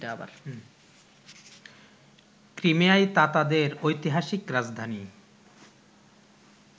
ক্রিমিয়ায় তাতাদের ঐতিহাসিক রাজধানী